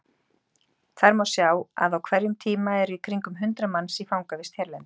Þar má sjá að á hverjum tíma eru í kringum hundrað manns í fangavist hérlendis.